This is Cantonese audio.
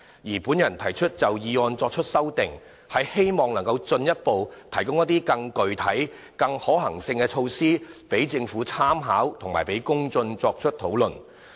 至於我就議案提出的修正案，是希望能進一步提供更具體和可行的措施讓政府參考，以及讓公眾作出討論。